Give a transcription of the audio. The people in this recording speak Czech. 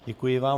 Děkuji vám.